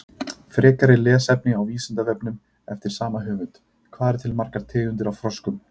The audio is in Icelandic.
Frekara lesefni á Vísindavefnum eftir sama höfund: Hvað eru til margar tegundir af froskum?